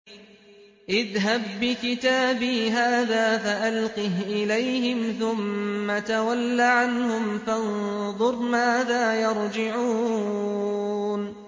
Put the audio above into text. اذْهَب بِّكِتَابِي هَٰذَا فَأَلْقِهْ إِلَيْهِمْ ثُمَّ تَوَلَّ عَنْهُمْ فَانظُرْ مَاذَا يَرْجِعُونَ